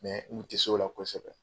Mɛ n tɛ se o la kosɛbɛ